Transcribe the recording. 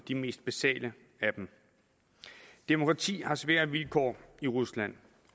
de mest basale af dem demokratiet har svære vilkår i rusland